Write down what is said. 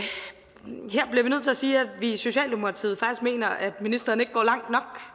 sige at vi i socialdemokratiet faktisk mener at ministeren ikke går langt